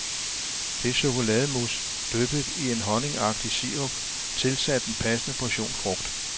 Det er chokolademousse dyppet i en honningagtig sirup tilsat en passende portion frugt.